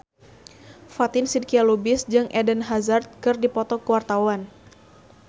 Fatin Shidqia Lubis jeung Eden Hazard keur dipoto ku wartawan